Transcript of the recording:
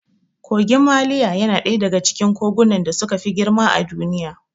Kogin maliya yana ɗaya daga cikin kogunan da suka fi girma a Duniya.